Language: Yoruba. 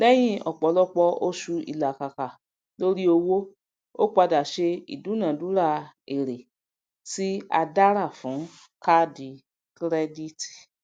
lèyìn ọpọlọpọ oṣù ilakaka lórí owó o pada se idunadura èrè tí a dára fún kaadi kirediti